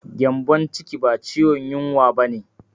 Gyambon ciki ba ciwon yunwa ba ne.